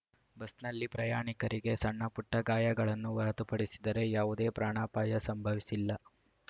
ಬಸ್‌ನಲ್ಲಿ ಪ್ರಯಾಣಿಕರಿಗೆ ಸಣ್ಣಪುಟ್ಟ ಗಾಯಗಳನ್ನು ಹೊರತುಪಡಿಸಿದರೆ ಯಾವುದೇ ಪ್ರಾಣಾಪಾಯ ಸಂಭವಿಸಿಲ್ಲ